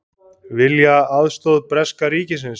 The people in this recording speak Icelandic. Vilja aðstoð breska ríkisins